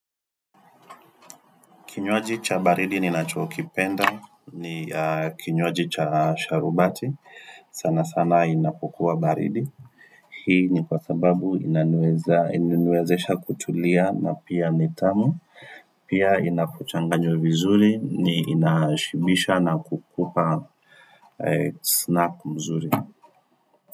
Kinywaji cha baridi ni nacho kipenda, ni kinywaji cha sharubati, sana sana inapokua baridi. Hii ni kwa sababu inaniwezesha kutulia na pia nitamu, pia inakuchanganya vizuri, ni inashibisha na kukupa snap mzuri.